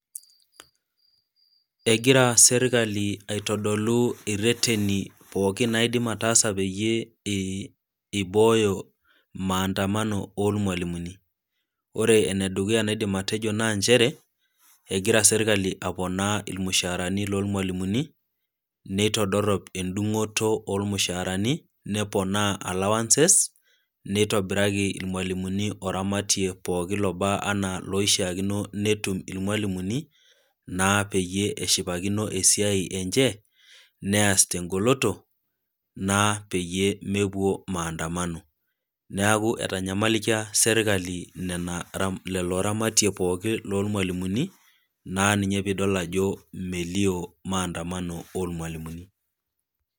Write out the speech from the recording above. Egira sirkali aitodolu ireteni pooki naidim ataasa peyie eibooyo maadamano oolmwalimuni, ore ene dukuya naidim atejo naa nchere, egira serkali aponaa olmushaara loolmwalimuni, neitodorop endung'oto oolmushaarani, neponaa allowances, neitobiraki ilmwalimuni oramatie pooki lobaa anaa loishaakino pee etum ilmwalimuni, naa peyie eshipakino esiai enche, neas te engoloto naa peyie mepuo maaandamano, neaku etanyamalikia serkali nena lelo ramatie pooki loolmwalimuni naa ninye pee idol ajo metii maandamano oo lmwalimuni.